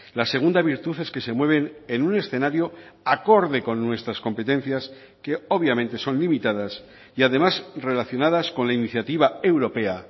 la segunda virtud es que se mueven en un escenario acorde con nuestras competencias que obviamente son limitadas y además relacionadas con la iniciativa europea